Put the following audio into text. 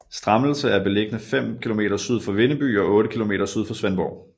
Strammelse er beliggende fem kilometer syd for Vindeby og otte kilometer syd for Svendborg